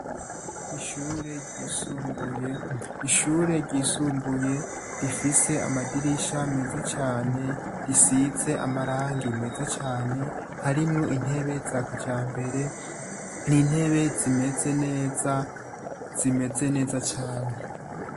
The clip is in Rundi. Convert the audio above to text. Ishure ryisumbuye. Ishure ryisumbuye rifise amadirisha meza cane, risize amarangi meza cane, harimwo intebe za kijambere. Ni intebe zimeze neza, zimeze neza cane.